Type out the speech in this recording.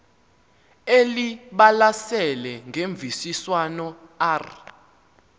elibalasele ngemvisiswano r